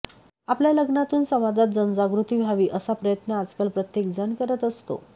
आपल्या लग्नातून समाजात जनजागृती व्हावी असा प्रयत्न आजकल प्रत्येक जण करत असतो